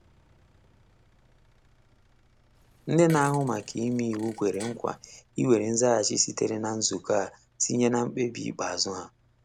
Nde na ahụ maka ime iwu kwere nkwa iwere nzaghachi sitere na nzukọ a tinye na mkpebi ikpeazụ ha.